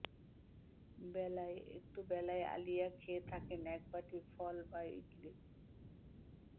বেলায়ঃ একটু বেলায় আলিয়া খেয়ে থাকেন একবাটি ফল বা ইডলি